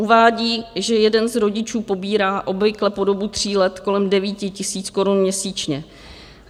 Uvádí, že jeden z rodičů pobírá obvykle po dobu tří let kolem 9 tisíc korun měsíčně.